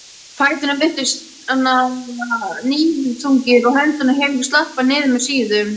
Fæturnir virtust níðþungir og hendurnar héngu slappar niður með síðum.